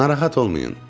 Narahat olmayın.